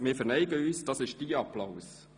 Wir verneigen uns, das ist dein Applaus!